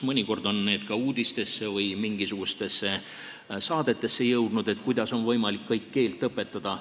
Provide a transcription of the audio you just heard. Mõnikord on ka uudistesse või mingisugustesse muudesse saadetesse jõudnud see, kuidas on võimalik keelt õpetada.